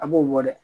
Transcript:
A b'o bɔ dɛ